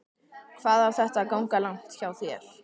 Hvað á þetta að ganga langt hjá þér?